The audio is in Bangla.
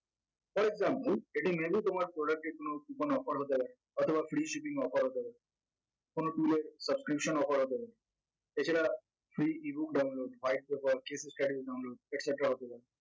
for example এটির menu তোমার product এর কোনো coupon offer হতে পারে অথবা free shipping offer হতে পারে কোন tour এ বা prevision offer হতে পারে এছাড়া free ebook download white proper objects category download etc হতে পারে